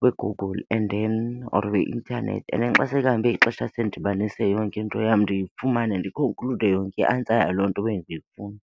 kwiGoogle and then or kwi- intanethi. And then xa sekuhambe ixesha sendidibanise yonke into yam ndifumane ndikhonklude yonke i-answer yaloo nto bendiyifuna.